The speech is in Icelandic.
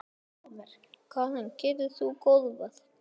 Karen: Gerir þú góðverk?